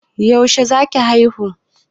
Yaushe za ki haihu?